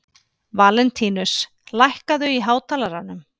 Valentínus, lækkaðu í hátalaranum.